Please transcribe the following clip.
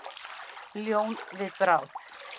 Ljón við bráð.